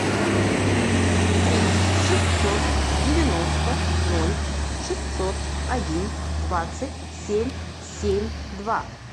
три шестьсот девяносто ноль шестьсот один двадцать семь семь два